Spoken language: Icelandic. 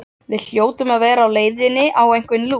Við hljótum að vera á leiðinni á einhvern lúx